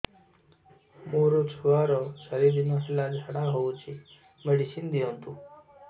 ମୋର ଛୁଆର ଚାରି ଦିନ ହେଲା ଝାଡା ହଉଚି ମେଡିସିନ ଦିଅନ୍ତୁ